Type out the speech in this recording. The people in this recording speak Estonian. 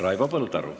Raivo Põldaru.